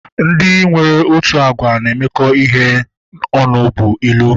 Ndị nwere otu agwa na-emekọ ihe ọnụ bụ ilu